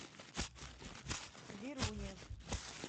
веруне